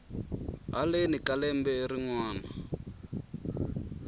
heleni ka lembe rin wana